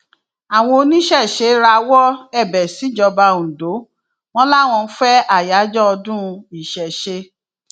àwọn oníṣẹṣẹ rawọ ẹbẹ síjọba ondo wọn làwọn ń fẹ àyájọ ọdún ìṣesé